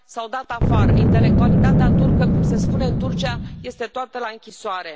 S au dat afară intelectualitatea turcă, cum se spune în Turcia, este toată la închisoare.